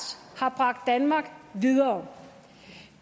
har bragt danmark videre